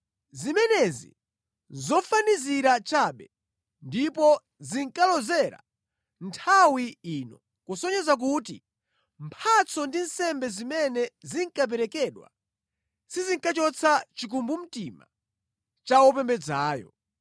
Zimenezi nʼzofanizira chabe, ndipo zinkalozera nthawi ino, kusonyeza kuti mphatso ndi nsembe zimene zinkaperekedwa sizinkachotsa chikumbumtima cha wopembedzayo.